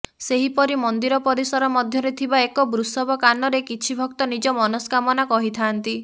ସେହିପରି ମନ୍ଦିର ପରିସର ମଧ୍ୟରେ ଥିବା ଏକ ବୃଷବ କାନରେ କିଛି ଭକ୍ତ ନିଜ ମନଷ୍କାମନା କହିଥାନ୍ତି